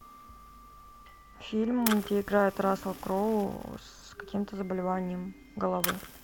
фильм где играет рассел кроу с каким то заболеванием головы